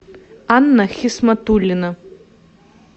анна хисматуллина